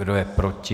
Kdo je proti?